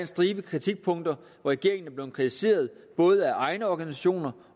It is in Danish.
stribe kritikpunkter hvor regeringen er blevet kritiseret både af egne organisationer